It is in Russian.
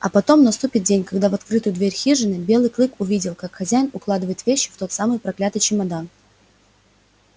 а потом наступит день когда в открытую дверь хижины белый клык увидел как хозяин укладывает вещи в тот самый проклятый чемодан